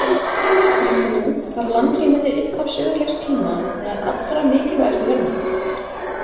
Líkt og nú var landrými við upphaf sögulegs tíma meðal allra mikilvægustu verðmæta.